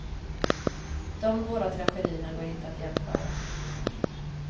De båda tragedierna går inte att jämföra.